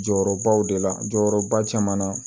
Jɔyɔrɔbaw de la jɔyɔrɔba caman na